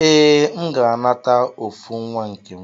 Ee, M ga-anata ofu nwa nkem.